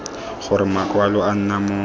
gore makwalo a nna mo